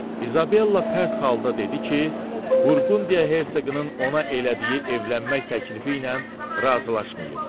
İzabella pərt halda dedi ki, Burqundiya hersoqunun ona elədiyi evlənmək təklifi ilə razılaşmayıb.